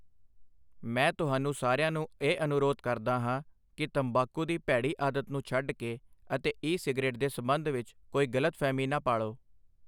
ਮੈਂ ਤੁਹਾਨੂੰ ਸਾਰਿਆਂ ਨੂੰ ਇਹ ਅਨੁਰੋਧ ਕਰਦਾ ਹਾਂ ਕਿ ਤੰਬਾਕੂ ਦੀ ਭੈੜੀ ਆਦਤ ਨੂੰ ਛੱਡ ਕੇ ਅਤੇ ਈ ਸਿਗਰੇਟ ਦੇ ਸਬੰਧ ਵਿੱਚ ਕੋਈ ਗਲਤਫਹਿਮੀ ਨਾ ਪਾਲੋ।